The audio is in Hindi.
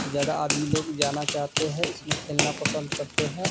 ज्यादा आदमी लोग जाना चाहते है इसमें खेलना पसंद करते है।